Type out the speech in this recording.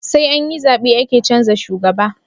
Saianyi zabe ake canza shugaba